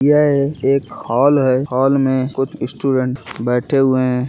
यह एक हॉल है हॉल में कुछ स्टूडेंट बैठे हुए हैं |